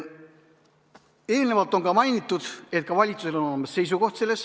Eelnevalt on mainitud, et ka valitsusel oli oma seisukoht.